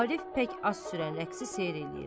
Arif pək az sürən rəqsi seyr eləyir.